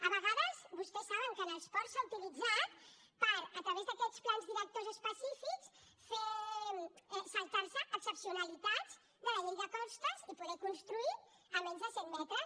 a vegades vostès saben que els ports s’han utilitzat per a través d’aquests plans directors específics saltar se excepcionalitats de la llei de costes i poder construir a menys de cent metres